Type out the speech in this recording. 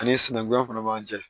Ani sinankunya fana man ca